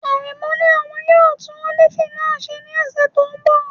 Aremu ní òun yóò tún ọ́fíìsì náà ṣe ní ọ̀sẹ̀ tó ń bọ̀.